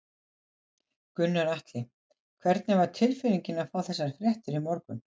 Gunnar Atli: Hvernig var tilfinningin að fá þessar fréttir í morgun?